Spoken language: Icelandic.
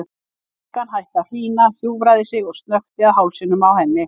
Stúlkan hætti að hrína, hjúfraði sig og snökti að hálsinum á henni.